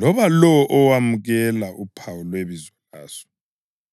loba lowo owemukela uphawu lwebizo laso.”